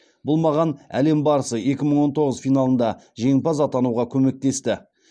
бұл маған әлем барысы екі мың он тоғыз финалында жеңімпаз атануға көмектесті